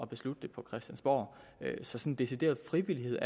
beslutte det på christiansborg sådan decideret frivillighed